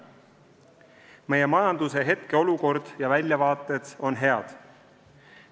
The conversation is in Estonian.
Meie majanduse hetkeolukord ja väljavaated on head.